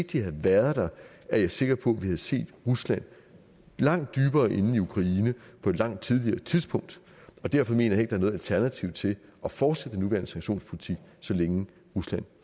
de havde været der er jeg sikker på at vi havde set rusland langt dybere inde i ukraine på et langt tidligere tidspunkt og derfor mener jeg er noget alternativ til at fortsætte den nuværende sanktionspolitik så længe rusland